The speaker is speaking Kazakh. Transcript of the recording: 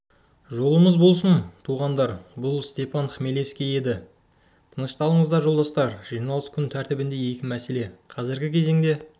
жолымыз болсын туғандар бұл степан хмелевский еді тынышталыңыздар жолдастар жиналыс күн тәртібінде екі мәселе қазіргі кезеңде